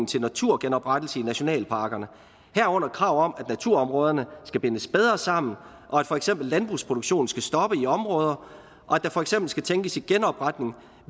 til naturgenoprettelse i nationalparkerne herunder krav om at naturområderne skal bindes bedre sammen og at for eksempel landbrugsproduktionen skal stoppe i områder og at der for eksempel skal tænkes i genopretning